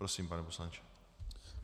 Prosím, pane poslanče.